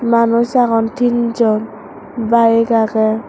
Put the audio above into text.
manus agon tin jon bike aagey.